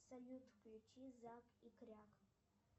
салют включи зак и кряк